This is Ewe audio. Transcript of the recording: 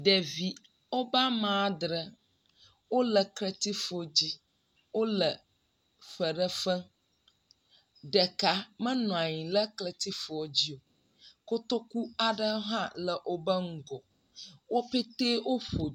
Ɖevi woƒe ame adre wole kletsifu dzi. Wole fe ɖe fem. Ɖeka menɔ anyi ɖe kletsifua dzi o. Kotoku aɖe hã le woƒe ŋgɔ. Wo petɛ wo ƒo …